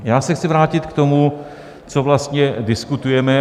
Já se chci vrátit k tomu, co vlastně diskutujeme.